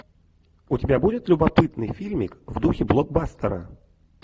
у тебя будет любопытный фильмик в духе блокбастера